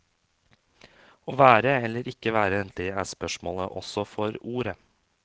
Å være eller ikke være, det er spørsmålet også for ordet.